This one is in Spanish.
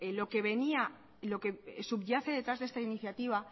lo que venía lo que subyace detrás de esta iniciativa